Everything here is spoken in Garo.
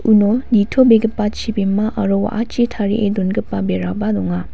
uno nitobegipa chibima aro wa·achi tarie dongipa beraba donga.